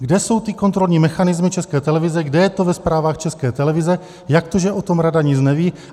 Kde jsou ty kontrolní mechanismy České televize, kde je to ve zprávách České televize, jak to, že o tom rada nic neví?